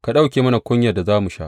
Ka ɗauke mana kunyar da za mu sha.